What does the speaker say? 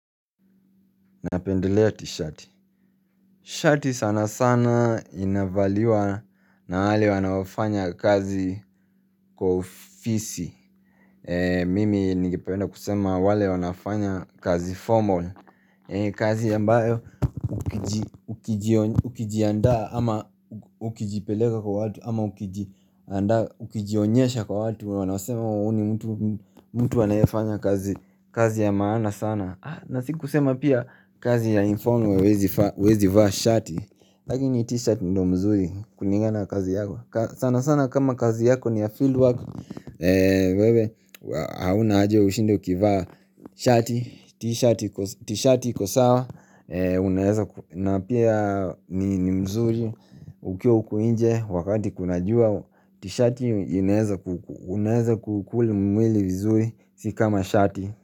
Napendelea tishati. Shati sana sana inavaliwa na wale wanaofanya kazi kwa ofisi Mimi ningependa kusema wale wanafanya kazi formal kazi ambayo ukijiandaa ama ukijipeleka kwa watu ama ukijiandaa ukijionyesha kwa watu wanasema uni mtu anayefanya kazi ya maana sana. Na siku kusema pia kazi ya informal huwezi vaa shati lakini ni t-shirt ndo mzuri kulingana na kazi yako. Sana sana kama kazi yako ni ya fieldwork, wewe haina haja ushinde ukivaa shati T-shirt iko sawa. Na pia ni mzuri ukiwa huku nje wakati kuna jua t-shirt unaeza ku ukuli mwili vizuri si kama shati.